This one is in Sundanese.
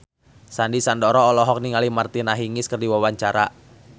Sandy Sandoro olohok ningali Martina Hingis keur diwawancara